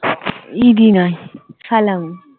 ইদি নয় সালামী